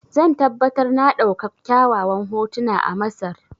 Zan tabbatar na ɗauka kyawawan hotuna a Masar.